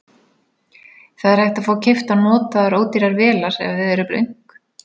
Það er hægt að fá keyptar notaðar ódýrar vélar ef þið eruð blönk.